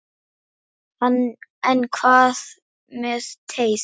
En hvað með teið?